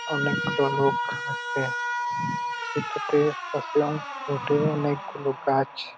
অনেকগুলো লোক আছে | এটাতে আছে অনেকগুলো গাছ --